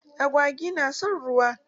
Agwagi na son ruwa.